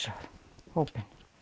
hópinn